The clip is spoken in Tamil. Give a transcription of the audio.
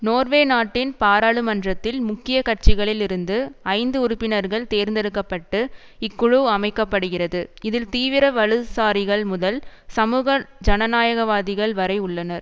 நோர்வே நாட்டின் பாராளுமன்றத்தில் முக்கிய கட்சிகளில் இருந்து ஐந்து உறுப்பினர்கள் தேர்ந்தெடுக்க பட்டு இக்குழு அமைக்க படுகிறது இதில் தீவிர வலதுசாரிகள் முதல் சமூக ஜனநாயகவாதிகள் வரை உள்ளனர்